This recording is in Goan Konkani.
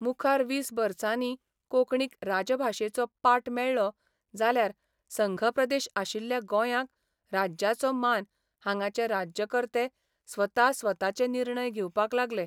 मुखार वीस बर्सानी कोंकणीक राजभाशेचो पाट मेळ्ळो जाल्यार संघप्रदेश आशिल्ल्या गोंयांक राज्याचो मान हांगाचे राज्यकर्ते स्वता स्वताचे निर्णय घेवपाक लागले.